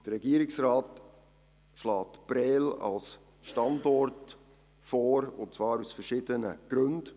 Der Regierungsrat schlägt Prêles als Standort vor, und zwar aus verschiedenen Gründen.